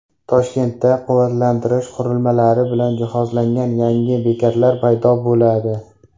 Toshkentda quvvatlantirish qurilmalari bilan jihozlangan yangi bekatlar paydo bo‘ladi.